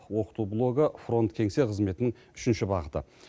оқыту блогы фронт кеңсе қызметінің үшінші бағыты